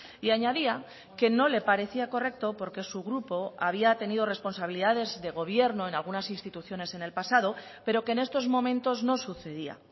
y añadía que no le parecía correcto porque su grupo había tenido responsabilidades de gobierno en algunas instituciones en el pasado pero que en estos momentos no sucedía